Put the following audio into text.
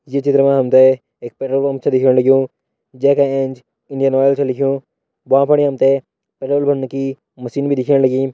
यह चित्र मा हम ते एक पेट्रोल पंप छ दिखेण लग्युं जै का एंच इंडियन ऑयल छ लिख्युं भ्वां फणि हम ते पेट्रोल पंप की मशीन भी दिखेण लगीं‌।